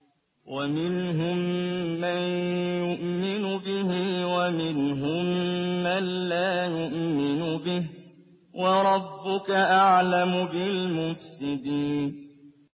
وَمِنْهُم مَّن يُؤْمِنُ بِهِ وَمِنْهُم مَّن لَّا يُؤْمِنُ بِهِ ۚ وَرَبُّكَ أَعْلَمُ بِالْمُفْسِدِينَ